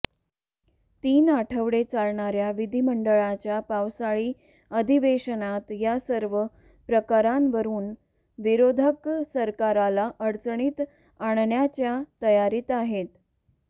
तीन आठवडे चालणाऱ्या विधिमंडळाच्या पावसाळी अधिवेशनात या सर्व प्रकणांवरून विरोधक सरकारला अडचणीत आणण्याच्या तयारीत आहेत